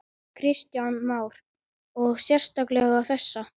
Kristján Már: Og sérstaklega þessa?